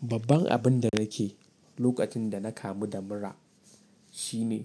Babban abin da nake lokacin da na kamu da mura shine